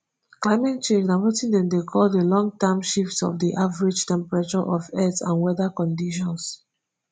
climate change na wetin dem dey call di long term shift of di average temperature of earth and weather conditions